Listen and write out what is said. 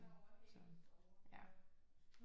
Så ja